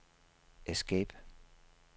escape